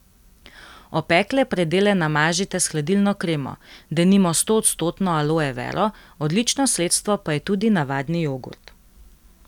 Opekle predele namažite s hladilno kremo, denimo stoodstotno aloe vero, odlično sredstvo pa je tudi navadni jogurt.